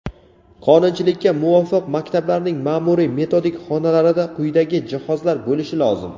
Qonunchilikka muvofiq maktablarning maʼmuriy-metodik xonalarida quyidagi jihozlar bo‘lishi lozim:.